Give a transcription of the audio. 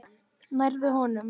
Nærðu honum?